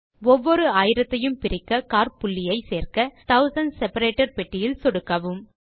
ஒவ்வொரு ஆயிரத்தையும் பிரிக்க காற்புள்ளியை சேர்க்க தூசண்ட்ஸ் செப்பரேட்டர் பெட்டியில் சொடுக்கவும்